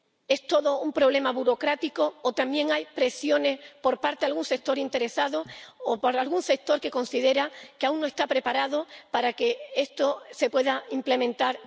¿Es todo un problema burocrático o también hay presiones por parte de algún sector interesado o por algún sector que considera que aún no está preparado para que esto se pueda implementar?